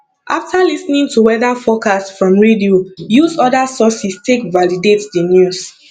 after lis ten ing to weather forcast from radio use oda sources take validate the news